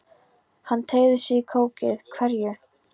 Hann teygði sig í kókið: Hverju?